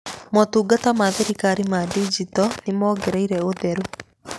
Motungata ma thirikari ma ndinjito nĩmongereire ũtheru.